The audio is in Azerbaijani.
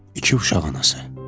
İki uşaq anası.